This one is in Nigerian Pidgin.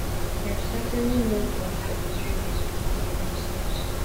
dem certainly no go allow israelis do am by themselves